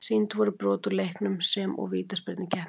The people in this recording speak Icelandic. Sýnd voru brot úr leiknum sem og vítaspyrnukeppnin.